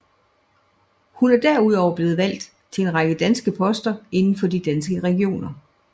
Hun er derudover blevet valgt til en række poster inden for de Danske Regioner